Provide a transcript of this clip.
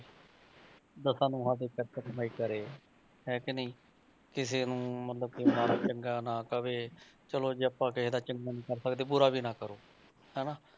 ਦਸਾਂ ਨੋਹਾਂ ਦੀ ਕਿਰਤ ਕਮਾਈ ਕਰੇ ਹੈ ਕਿ ਨਹੀਂ ਕਿਸੇ ਨੂੰ ਮਤਲਬ ਕਿ ਮਾੜਾ ਚੰਗਾ ਨਾ ਕਵੇ ਚਲੋ ਜੇ ਆਪਾਂ ਕਿਸੇ ਦਾ ਚੰਗੇ ਨੀ ਕਰ ਸਕਦੇ ਬੁਰਾ ਵੀ ਨਾ ਕਰੋ, ਹਨਾ।